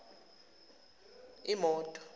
imoto